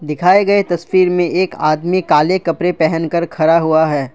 दिखाए गए तस्वीर में एक आदमी काले कपरे पहन कर खरा हुआ है।